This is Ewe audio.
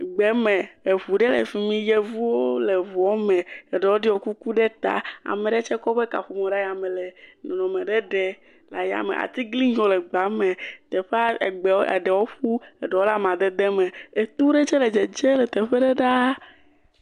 Gbe me eŋu ɖe le fi mi, yevuwo le ŋuame, eɖewo ɖɔ kuku ɖe ta, ame ɖe tse kɔ eƒe kaƒomɔ ɖe yame le nɔnɔme ɖe ɖe le ayame, atiglinyiwo le gbea me, teƒea egbe ɖewo ƒu ɖewo le amadede me, etu ɖe tse le dzedze ɖaa.